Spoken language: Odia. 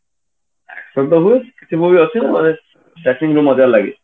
ସେଇ ତ ହୁଏ କିଛି movie ଅଛି ମାନେ starting ରୁ ମଜା ଲାଗେ